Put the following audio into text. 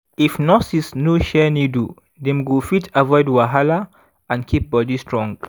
if nurses no share needle dem go fit avoid wahala and keep body strong.